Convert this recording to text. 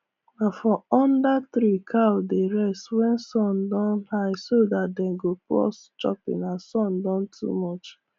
na for under tree cow dey rest wen sun don high so dat dem go pause chopping as sun don too much